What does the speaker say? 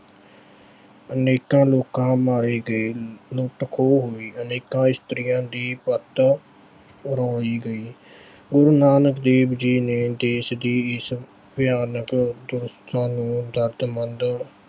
ਅਨੇਕਾਂ ਲੋਕ ਮਾਰੇ ਗਏ, ਲੁੱਟ ਖੋ ਹੋਈ, ਅਨੇਕਾਂ ਇਸਤਰੀਆਂ ਦੀ ਪੱਤ ਰੋਲੀ ਗਈ ਹੁਣ ਨਾਨਕ ਦੇਵ ਜੀ ਨੇ ਦੇਸ਼ ਦੀ ਇਸ ਭਿਆਨਕ ਵਿਵਸਥਾ ਨੂੰ